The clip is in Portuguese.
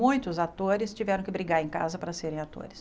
Muitos atores tiveram que brigar em casa para serem atores.